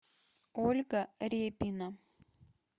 ольга репина